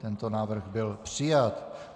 Tento návrh byl přijat.